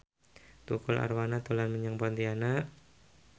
Tukul Arwana dolan menyang Pontianak